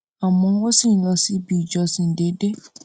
àmọ́ wọ́n sì ń lọ síbi ìjọsìn déédéé